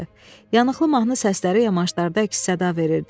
Yanıqlı mahnı səsləri yamaşlarda əks-səda verirdi.